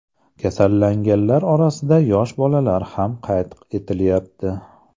Kasallanganlar orasida yosh bolalar ham qayd etilyapti.